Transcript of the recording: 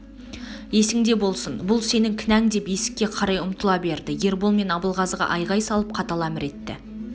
есіңде болсын бұл сенің кінәң деп ескке қарай ұмтыла берді ербол мен абылғазыға айғай салып қатал әмір етті